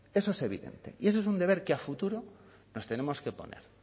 eso es evidente y eso es un deber que a futuro nos tenemos que poner